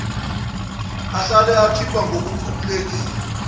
ahlale ekhipha ngokukhululekile